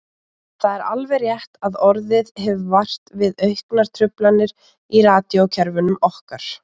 Það er alveg rétt að orðið hefur vart við auknar truflanir í radíókerfunum okkar.